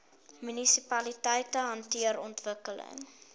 munisipaliteite hanteer ontwikkeling